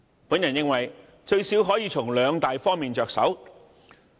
我認為至少可以從兩大方面着手。